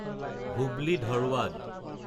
Hubli-Dharwad